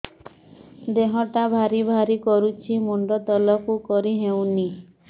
ଦେହଟା ଭାରି ଭାରି କରୁଛି ମୁଣ୍ଡ ତଳକୁ କରି ହେଉନି